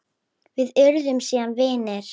Við urðum síðan vinir.